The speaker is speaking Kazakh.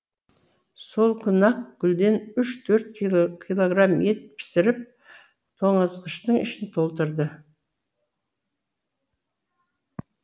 сол күні ақ гүлден үш төрт килограмм ет пісіріп тоңазытқыштың ішін толтырды